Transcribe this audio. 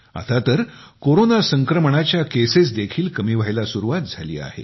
आता तर कोरोना संक्रमणाच्या केसेस देखील कमी व्हायला सुरुवात झाली आहे